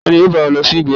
Tani yọọ ba o losí ìgbéyàwó?